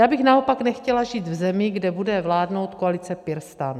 Já bych naopak nechtěla žít v zemi, kde bude vládnout koalice PirStan.